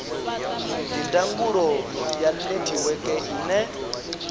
ndi ndangulo ya netiweke ine